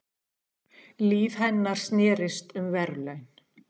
Líf hennar snerist um verðlaun.